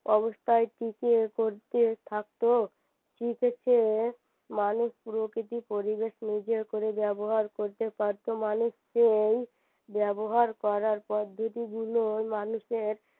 অবস্থায় টিকিয়ে পড়তে থাকত শিখেছে মানুষ প্রকৃতি পরিবেশ নিজের করে ব্যবহার করতে পারত মানুষ সেই ব্যবহার করার পর গুলো মানুষের